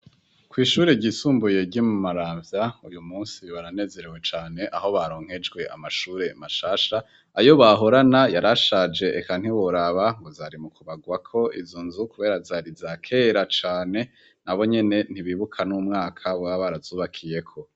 Kw'ishure ryisumbuye ryo Mumaravya, uyu musi baranezerewe cane aho baronkejwe amashure mashasha, ayo bahorana yarashaje eka ntiworaba ngo zari mu kubagwako izo nzu kubera zari zakera cane, nabo nyene ntibibuka n'umwaka boba barazubakiyeko.